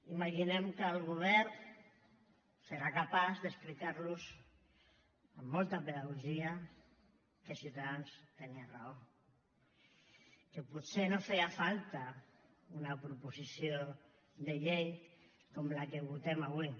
imaginem que el govern serà capaç d’explicar los amb molta pedagogia que ciutadans tenia raó que potser no feia falta una proposició de llei com la que votem avui